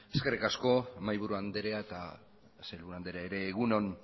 eskerrik asko mahai buru andrea eta sailburu andrea ere egun on